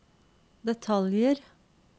detaljer